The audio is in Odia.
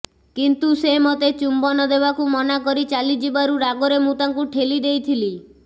କିନ୍ତୁ ସେ ମୋତେ ଚୁମ୍ବନ ଦେବାକୁ ମନା କରି ଚାଲିଯିବାରୁ ରାଗରେ ମୁଁ ତାଙ୍କୁ ଠେଲି ଦେଇଥିଲି